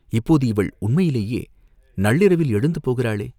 இப்போது இவள் உண்மையிலேயே நள்ளிரவில் எழுந்து போகிறாளே?